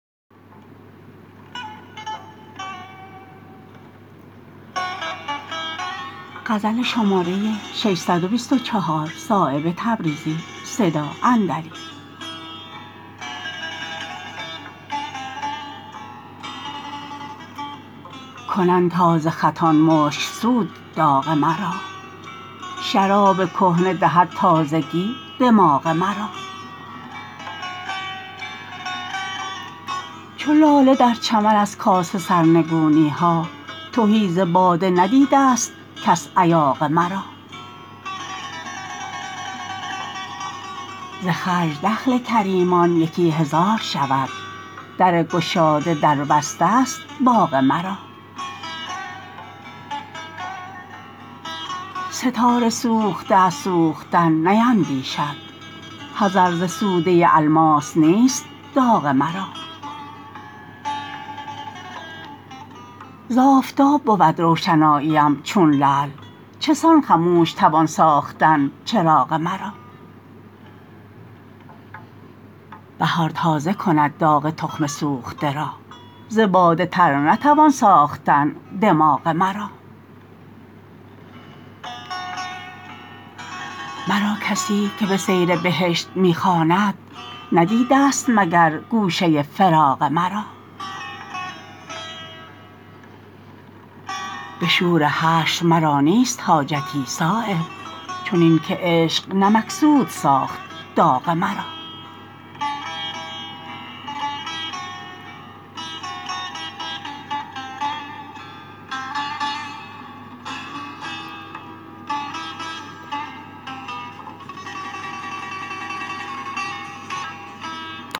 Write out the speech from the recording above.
کنند تازه خطان مشکسود داغ مرا شراب کهنه دهد تازگی دماغ مرا چو لاله در چمن از کاسه سرنگونی ها تهی ز باده ندیده است کس ایاغ مرا ز خرج دخل کریمان یکی هزار شود در گشاده در بسته است باغ مرا ستاره سوخته از سوختن نیندیشد حذر ز سوده الماس نیست داغ مرا ز آفتاب بود روشناییم چون لعل چسان خموش توان ساختن چراغ مرا بهار تازه کند داغ تخم سوخته را ز باده تر نتوان ساختن دماغ مرا مرا کسی که به سیر بهشت می خواند ندیده است مگر گوشه فراغ مرا به شور حشر مرا نیست حاجتی صایب چنین که عشق نمکسود ساخت داغ مرا